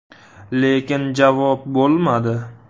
Lekin javob bo‘lmadi.